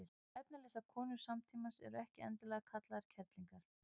efnalitlar konur samtímans eru ekki endilega kallaðar kerlingar